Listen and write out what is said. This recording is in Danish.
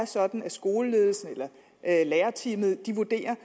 sådan at skoleledelsen eller lærerteamet vurderer